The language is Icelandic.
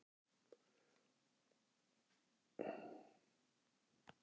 Komum heim, jarðarförin er búin, sagði Svenni.